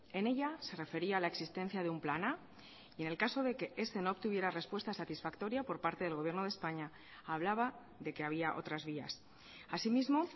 en ella se refería a la existencia de un plan a y en el caso de que ese no obtuviera respuesta satisfactoria por parte del gobierno de españa hablaba de que había otras vías asimismo